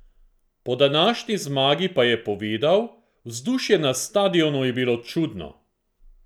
Po današnji zmagi pa je povedal: "Vzdušje na stadionu je bilo čudno.